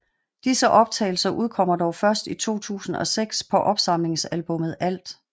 Disse optagelser udkommer dog først i 2006 på opsamlingsalbummet Alt